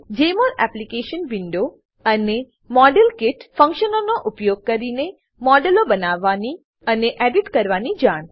જમોલ application window અને model kit ફંક્શનનો ઉપયોગ કરીને મોડેલો બનાવવાની અને એડિટ કરવાની જાણ